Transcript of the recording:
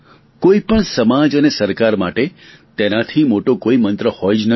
કોઈ પણ સમાજ અને સરકાર માટે તેનાથી મોટો કોઈ મંત્ર હોઈ જ ન શકે